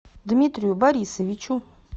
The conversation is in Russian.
дмитрию борисовичу